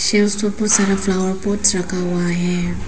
Chairs सारा flower pots रखा हुआ है।